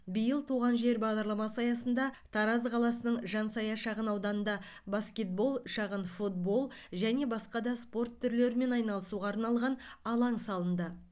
биыл туған жер бағдарламасы аясында тараз қаласының жансая шағын ауданында баскетбол шағын футбол және басқа да спорт түрлерімен айналысуға арналған алаң салынды